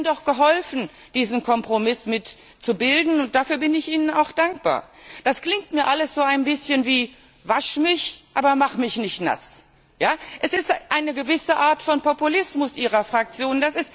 Sie haben doch mitgeholfen, diesen Kompromiss zu bilden. Dafür bin ich Ihnen auch dankbar. Das klingt mir alles so ein wenig wie Wasch mich, aber mach mich nicht nass. Das ist eine gewisse Art von Populismus Ihrer Fraktion.